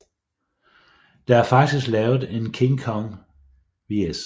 Der er faktisk lavet en King Kong vs